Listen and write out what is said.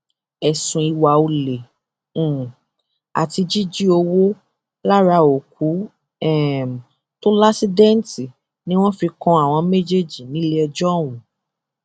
ẹsùn ìwà ọlẹ um àti jíjí owó lára òkú um tó láṣìdẹǹtì ni wọn fi kan àwọn méjèèjì níléẹjọ ọhún